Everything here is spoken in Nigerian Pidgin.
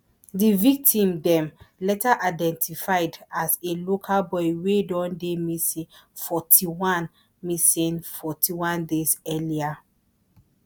di victim dem later identified as a local boy wey don dey missing forty-one missing forty-one days earlier